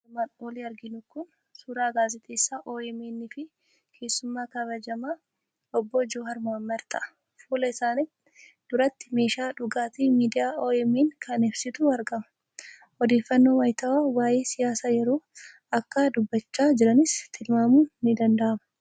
Suuraan armaan olitti arginu kun suuraa gaazexeessaa OMN fi keessummaa kabajamaa Obbo Jowaar Mohaammed ta'a. Fuula isaanii duratti meeshaa dhugaatii miidiyaa OMN kan ibsuutu argama. Odeeffannoo wayitaawwaa waa'ee siyaasa yeroo akka dubbachaa jiranis tilmaamuun ni danda'ama.